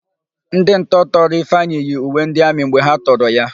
Ndị ntọ tọrọ Ifeanyị yi uwe ndị amị mgbe ha tọrọ ya.